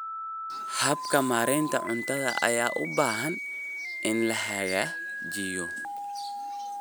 Habka maareynta cuntada ayaa u baahan in la hagaajiyo.